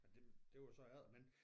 Ja det det var så efter men